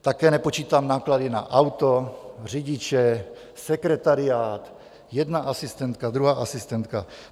Také nepočítám náklady na auto, řidiče, sekretariát, jedna asistentka, druhá asistentka.